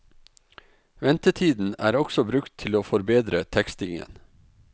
Ventetiden er også brukt til å forbedre tekstingen.